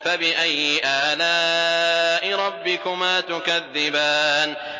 فَبِأَيِّ آلَاءِ رَبِّكُمَا تُكَذِّبَانِ